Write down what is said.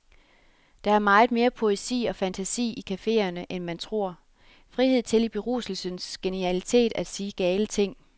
Der er meget mere poesi og fantasi i caféerne, end man tror. Frihed til i beruselsens genialitet at sige gale ting.